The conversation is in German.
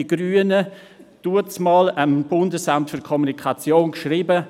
Die Grünen haben damals dem Bundesamt für Kommunikation (BAKOM) geschrieben: